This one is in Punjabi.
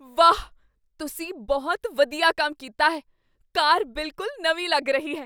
ਵਾਹ! ਤੁਸੀਂ ਬਹੁਤ ਵਧੀਆ ਕੰਮ ਕੀਤਾ ਹੈ। ਕਾਰ ਬਿਲਕੁਲ ਨਵੀਂ ਲੱਗ ਰਹੀ ਹੈ!